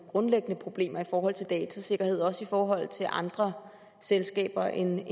grundlæggende problemer i forhold til datasikkerhed og også i forhold til andre selskaber end